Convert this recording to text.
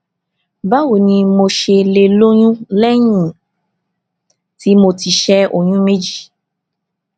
báwo ni mo ṣe lè lóyún léyìn tí mo ti ṣé oyún méjì